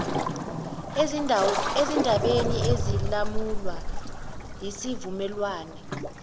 ezindabeni ezilawulwa yisivumelwane